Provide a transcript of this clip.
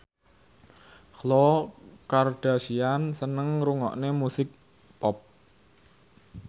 Khloe Kardashian seneng ngrungokne musik pop